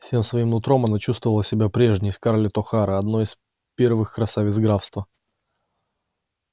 всем своим нутром она чувствовала себя прежней скарлетт охара одной из первых красавиц графства